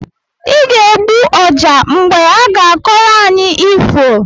Ị ga-egbu ọjá mgbe aga-akọrọ anyị ifo!